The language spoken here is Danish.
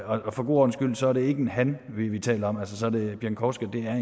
og for god ordens skyld er det ikke en han vi taler om pieńkowska er